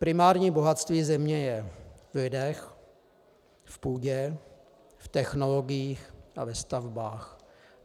Primární bohatství země je v lidech, v půdě, v technologiích a ve stavbách.